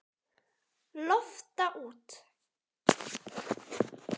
Lofta út.